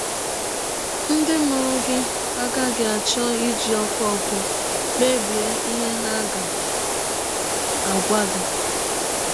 Ndị mụrụ gị agaghị achọ iji ọkụ ọkụ kpebie ihe ha ga - agwa gị.